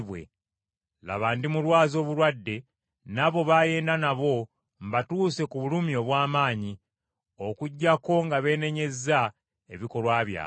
Laba, ndimulwaza obulwadde obulimusuula ku ndiri, era n’abo baayenda nabo mbatuuse ku bulumi obw’amaanyi, okuggyako nga beenenyezza ebikolwa byabwe.